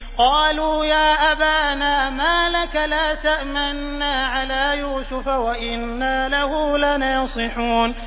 قَالُوا يَا أَبَانَا مَا لَكَ لَا تَأْمَنَّا عَلَىٰ يُوسُفَ وَإِنَّا لَهُ لَنَاصِحُونَ